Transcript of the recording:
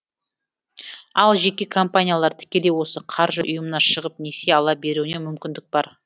ал жеке компаниялар тікелей осы қаржы ұйымына шығып несие ала беруіне мүмкіндік бар